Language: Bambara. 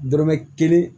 Dɔrɔmɛ kelen